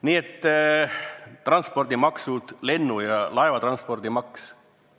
Nii et transpordimaksud, näiteks lennu- ja laevatranspordimaks.